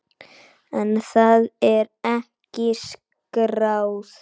En það er ekki skráð.